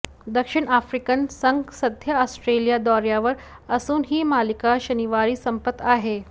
दक्षिण आफ्रिकन संघ सध्या ऑस्ट्रेलिया दौऱयावर असून ही मालिका शनिवारी संपत आहे